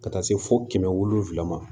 Ka taa se fo kɛmɛ wolonfila ma